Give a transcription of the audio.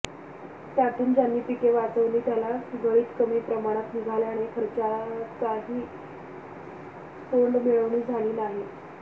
त्यातून ज्यांनी पिके वाचवली त्याला गळीत कमी प्रमाणात निघाल्याने खर्चाचीही तोंडमिळवणी झाली नाही